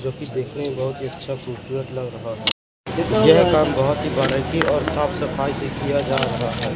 जो की देखने में बहोत ही अच्छा खूबसूरत लग रहा है यह काम बहोत ही बारीकी और साफ सफाई से किया जा रहा है।